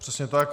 Přesně tak.